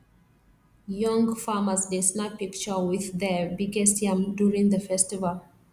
young farmers dey snap picture with their biggest yam during the festival